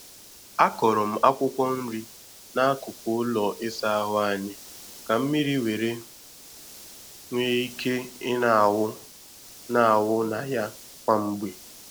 A kọrọ m akwụkwọ nri n'akụkụ ụlọ ịsa ahụ anyị ka mmiri were nwee ike ị na-awụ na-awụ na ya kwa mgbe.